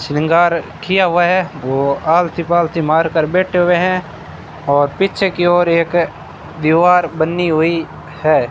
श्रृंगार किया हुआ है वो आलती पालथी मार कर बैठे हुए हैं और पीछे की ओर एक दीवार बन्नी हुई है।